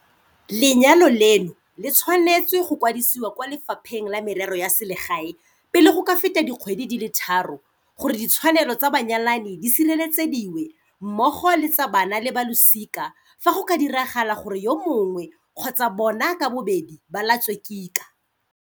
Lenyalo leno le tshwanetswe go kwadisiwa kwa Le fapheng la Merero ya Selegae pele go ka feta dikgwedi di le tharo gore ditshwanelo tsa banyalani di sireletsediwe, mmogo le tsa bana le ba losika fa go ka diragala gore yo mongwe kgotsa bona ka bobedi ba latswe kika.